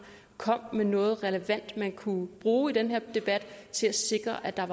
komme med noget relevant man kunne bruge i den her debat til at sikre at der